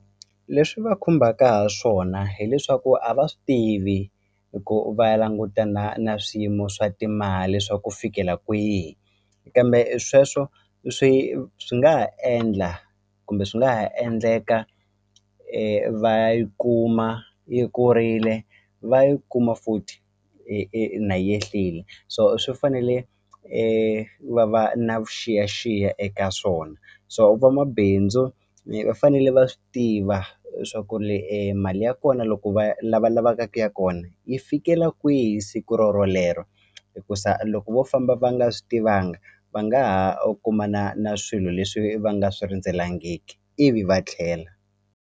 Leswi va khumbaka ha swona hileswaku a va swi tivi ku va langutana na swiyimo swa timali swa ku fikela kwihi kambe i sweswo swi swi nga ha endla kumbe swi nga ha endleka va ya yi kuma yi kurile va yi kuma futhi na yi yehlile so swi fanele va va na vuxiyaxiya eka swona so va mabindzu va fanele va swi tiva leswaku ri mali ya kona loko va lavalava ka ku ya kona yi fikela kwihi siku ro rolero hikusa loko vo famba va nga swi tivanga va nga u ha kumana na swilo leswi va nga swi rindzelangiki ivi va tlhela.